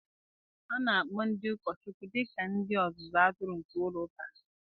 A na-akpọ ndị ụkọchukwu dị ka ndị ọzụzụ atụrụ nke ụka ha.